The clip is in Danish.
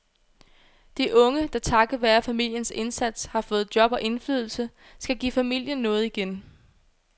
De unge, der takket være familiens indsats har fået job og indflydelse, skal give familien noget igen.